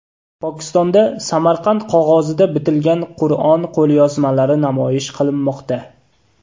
Pokistonda Samarqand qog‘ozida bitilgan Qur’on qo‘lyozmalari namoyish qilinmoqda.